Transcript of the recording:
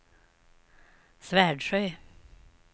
Svärdsjö